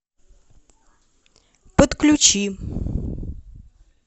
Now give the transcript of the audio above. подключи